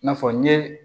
I n'a fɔ n ye